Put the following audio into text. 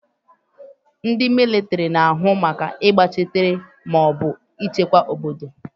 Ndị mịlịtịrị na-ahụ maka ịgbachitere maọbụ ịchekwa obodo.